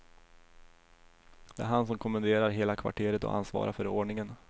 Det är han som kommenderar hela kvarteret och ansvarar för ordningen.